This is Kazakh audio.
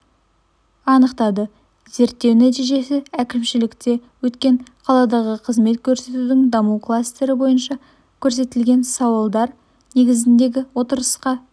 анықтады зерттеу нәтижесі әкімшілікте өткен қаладағы қызмет көрсетудің даму кластері бойынша көтерілген сауалдар негізіндегі отырыста